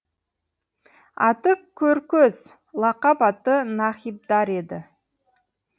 аты көркөз лақап аты нахибдар еді